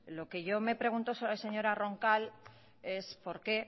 lo que yo me pregunto señora roncal es por qué